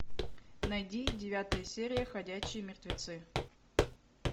найди девятая серия ходячие мертвецы